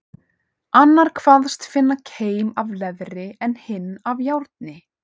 Annar kvaðst finna keim af leðri, en hinn af járni.